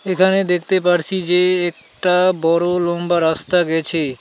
এখানে দেখতে পারছি যে একটা বড় লম্বা রাস্তা গেছে।